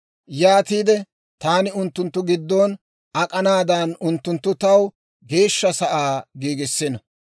«Yaatiide taani unttunttu giddon ak'anaadan, unttunttu taw Geeshsha sa'aa giigissino.